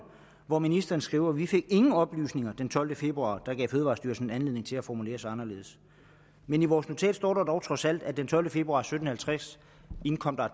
hvor ministeren skriver vi fik ingen oplysninger den tolvte februar der gav fødevarestyrelsen anledning til at formulere sig anderledes men i vores notat står der dog trods alt at den tolvte februar klokken sytten halvtreds indkom der